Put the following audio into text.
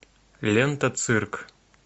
лента цирк